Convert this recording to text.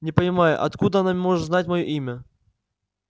не понимаю откуда она может знать моё имя